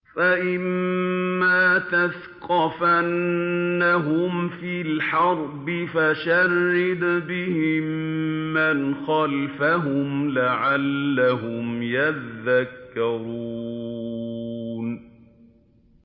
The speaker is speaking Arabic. فَإِمَّا تَثْقَفَنَّهُمْ فِي الْحَرْبِ فَشَرِّدْ بِهِم مَّنْ خَلْفَهُمْ لَعَلَّهُمْ يَذَّكَّرُونَ